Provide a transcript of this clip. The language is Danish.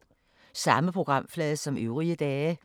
Samme programflade som øvrige dage